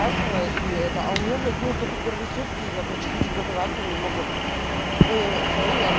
ачивает и это у меня блять ну только первые сутки я короче хочу газовать но не могу и все я